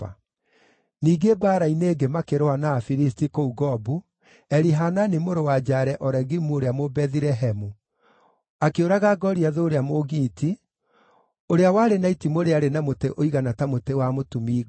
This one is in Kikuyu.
Ningĩ mbaara-inĩ ĩngĩ makĩrũa na Afilisti kũu Gobu, Elihanani mũrũ wa Jaare-Oregimu ũrĩa Mũbethilehemu akĩũraga Goliathũ ũrĩa Mũgiiti, ũrĩa warĩ na itimũ rĩarĩ na mũtĩ ũigana ta mũtĩ wa mũtumi ngoora.